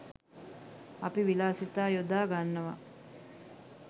අපි විලාසිතා යොදා ගන්නවා